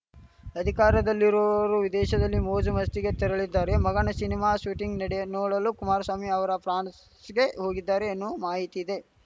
ಅಧಿಕಾರದಲ್ಲಿರುವವರು ವಿದೇಶದಲ್ಲಿ ಮೋಜುಮಸ್ತಿಗೆ ತೆರಳಿದ್ದಾರೆ ಮಗನ ಶಿನಿಮಾ ಶೂಟಿಂಗ್‌ ನೋಡಲು ಕುಮಾರಸ್ವಾಮಿ ಅವರು ಫ್ರಾನ್ಸ್‌ಗೆ ಹೋಗಿದ್ದಾರೆ ಎನ್ನುವ ಮಾಹಿತಿ ಇದೆ